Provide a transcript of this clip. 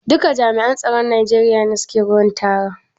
Duka jami'an tsaron Najeriya ne ke wurin taron?